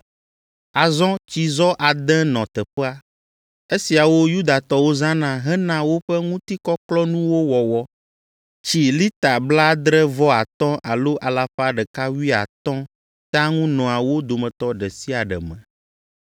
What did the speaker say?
Azɔ tsizɔ ade nɔ teƒea. Esiawo Yudatɔwo zãna hena woƒe ŋutikɔklɔkɔnuwo wɔwɔ. Tsi lita blaadre-vɔ-atɔ̃ alo alafa ɖeka wuiatɔ̃ tea ŋu nɔa wo dometɔ ɖe sia ɖe me.